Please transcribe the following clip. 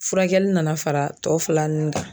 Furakɛli nana fara tɔ fila nun kan